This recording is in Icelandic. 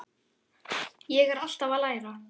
Ég er alltaf að læra.